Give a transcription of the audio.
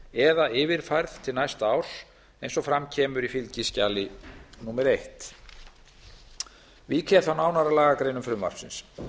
eða yfirfærð til næsta árs eins og fram kemur í fylgiskjali númer fyrstu vík ég þá nánar að lagagreinum frumvarpsins